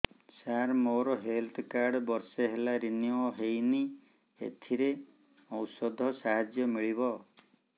ସାର ମୋର health card ବର୍ଷେ ହେଲା ରିନିଓ ହେଇନି ଏଥିରେ ଔଷଧ ସାହାଯ୍ୟ ମିଳିବ